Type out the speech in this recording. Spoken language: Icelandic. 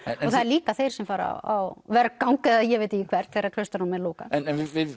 klaustrunum það eru líka þeir sem fara á vergang eða ég veit ekki hvert þegar klaustrunum er lokað en